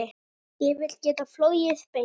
Ég vil geta flogið beint.